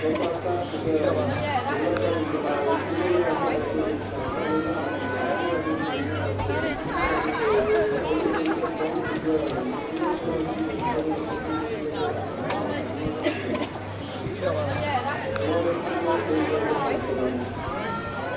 Dabba ata n ʒɛya ŋo bi gbubila pai dibaayi yino yɛla daliya dozim ka di koɣali zaɣ nuɣso tihi nyɛla din sa bi nyaanga kodu tihi nyɛla din saya bi luɣuli zuɣu kom n doya ŋo yino sola jinjɛm sabinli ka pili zipiligu zaɣ tankpaɣu ka di niŋ zaɣ dozim mori n do bi ni ʒɛ luɣu shɛli polo ŋo